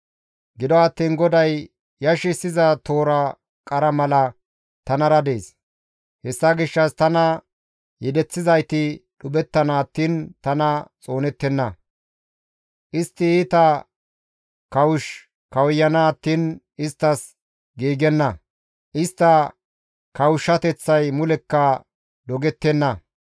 Gido attiin GODAY yashissiza toora qara mala tanara dees; hessa gishshas tana yedeththizayti dhuphettana attiin tana xoonettenna; istti iita kawush kawuyana attiin isttas giigenna; istta kawushshateththay mulekka dogettenna.